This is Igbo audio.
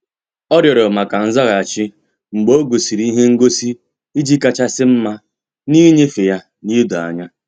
Ọ́ rịọ̀rọ̀ maka nzaghachi mgbe ọ́ gọ́sị́rị́ ihe ngosi iji kàchàsị́ mma n’ínyéfe ya na idoanya.